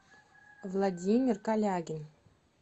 владимир колягин